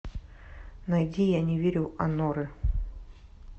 найди я не верю аноры